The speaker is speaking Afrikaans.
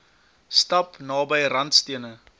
stap naby randstene